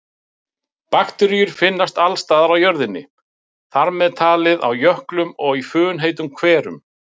Bakteríur finnast alls staðar á jörðinni, þar með talið á jöklum og í funheitum hverum.